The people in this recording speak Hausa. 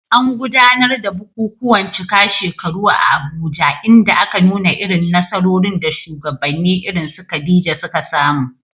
An gudanar da bukukuwan cika shekaru a Abuja inda aka nuna irin nasarorin da shugabanni irin su Khadija suka samu.